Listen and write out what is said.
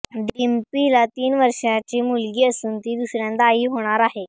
डिंपीला तीन वर्षांची मुलगी असून ती दुसऱ्यांदा आई होणार आहे